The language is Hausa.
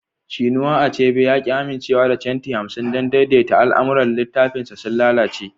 Chinua Achebe ya ki amincewa da centi hamsin don daidaita al'amuran littafinsa sun lalace